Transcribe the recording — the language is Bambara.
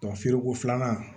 feereko filanan